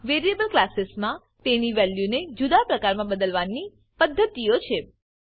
variable કલાસીસમા તેની વેલ્યુને જુદા પ્રકારમાં બદલવાના પદ્ધતિઓ છે